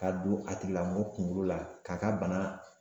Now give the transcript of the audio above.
Ka don a tigilamɔgɔ kunkolo la, k'a ka bana